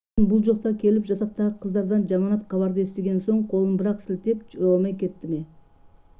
бәлкім бұл жоқта келіп жатақтағы қыздардан жаманат хабарды естіген соң қолын бір-ақ сілтеп жоламай кетті ме